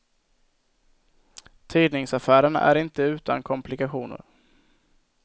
Tidningsaffären är inte utan komplikationer.